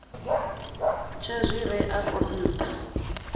tsha zwi re afho nṱha